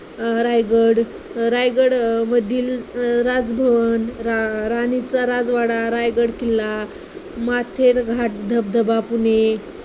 अं रायगड, रायगडमधील अं राजभवन, रा राणीचा राजवाडा रायगड किल्ला, मढे घाट, धबधबा पुणे,